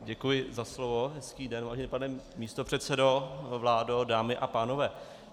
Děkuji za slovo, hezký den, vážený pane místopředsedo, vládo, dámy a pánové.